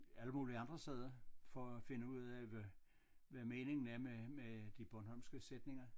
Alle mulige andre steder for at finde ud af hvad hvad meningen er med de bornholmske sætninger